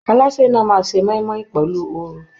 Alásè náà máa se moimoi pẹlu oru.